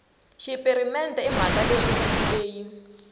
xipirimente i mhaka yikulu leyi